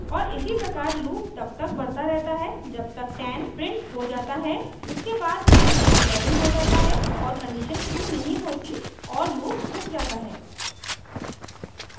और इसी प्रकार loop तब तक बढ़ता रहता है जब तक 10 printed हो जाता है उसके बाद n 11 हो जाता है और condition true नहीं होती और loop रुक जाता है